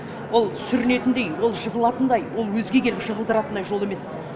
ол сүрінетіндей ол жығылатындай ол өзге келіп жығылдыратындай жол емес